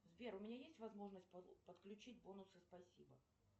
сбер у меня есть возможность подключить бонусы спасибо